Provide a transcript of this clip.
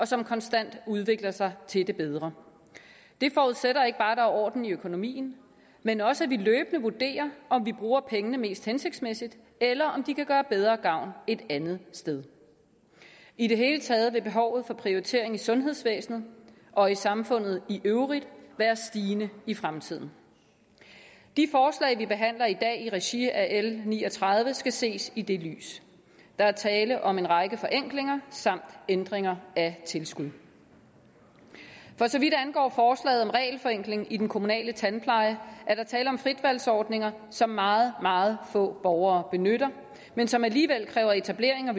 som konstant udvikler sig til det bedre det forudsætter ikke bare at der er orden i økonomien men også at vi løbende vurderer om vi bruger pengene mest hensigtmæssigt eller om de kan gøre bedre gavn et andet sted i det hele taget vil behovet for prioritering i sundhedsvæsenet og i samfundet i øvrigt være stigende i fremtiden de forslag vi behandler i dag i regi af l ni og tredive skal ses i det lys der er tale om en række forenklinger samt ændringer af tilskud for så vidt angår forslaget om regelforenkling i den kommunale tandpleje er der tale om fritvalgsordninger som meget meget få borgere benytter men som alligevel kræver etablering og